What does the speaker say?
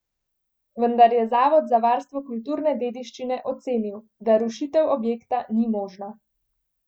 Vendar je zavod za varstvo kulturne dediščine ocenil, da rušitev objekta ni možna.